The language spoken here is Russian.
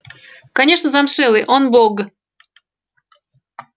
конечно замшелый он бог